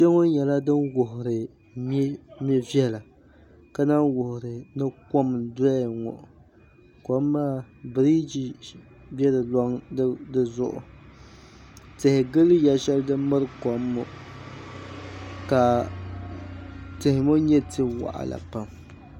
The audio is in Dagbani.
ya ŋɔ nyɛla din wuhiri me' viɛla ka lahi wuhiri ni kom n-doya ŋɔ kom maa biriji be di zuɣu tihi gili ya shɛli din miri kom ŋɔ ka tihi ŋɔ nyɛ ti' waɣila pam